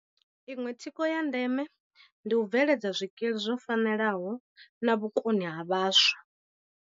Iṅwe thikho ya ndeme ndi u bve ledza zwikili zwo fanelaho na vhukoni ha vhaswa.